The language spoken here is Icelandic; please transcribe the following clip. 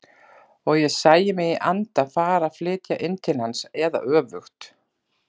Og ég sæi mig í anda fara að flytja inn til hans eða öfugt.